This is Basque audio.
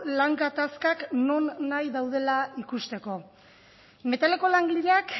lan gatazkak nonahi daudela ikusteko metaleko langileak